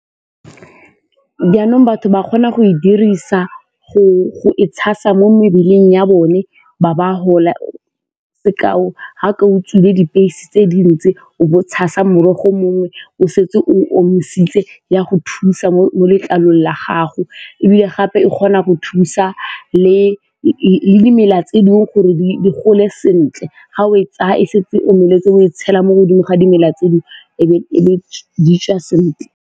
Jaanong batho ba kgona go e dirisa go e tshasa mo mebeleng ya bone ba ba gola, sekao ga ka dipilisi tse dintsi o bo tshasa morogo mongwe o setse o omisitse ya go thusa mo letlalong la gago ebile gape e kgona go thusa le dimela tse dingwe gore di gole sentle ga o e tsaya e setse omeletse o e tshela mo godimo ga dimela tseo e be di tswa sentle.